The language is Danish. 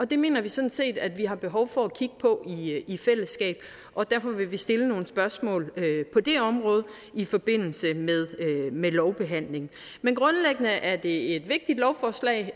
det mener vi sådan set at vi har behov for at kigge på i fællesskab og derfor vil vi stille nogle spørgsmål på det område i forbindelse med lovbehandlingen men grundlæggende er det et vigtigt lovforslag